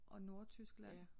Og Nordtyskland